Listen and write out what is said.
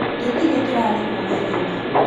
Tũtirĩ tũrarĩhwo wĩra-inĩ